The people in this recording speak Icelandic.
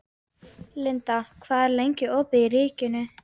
Linda, hvað er lengi opið í Ríkinu?